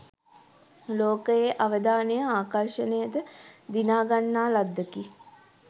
ලෝකයේ අවධානය ආකර්ෂණයද දිනා ගන්නා ලද්දකි.